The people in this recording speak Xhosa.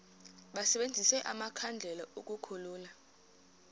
basebenzise amakhandlela ukukhulula